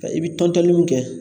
I bɛ tɔntɔnni mun kɛ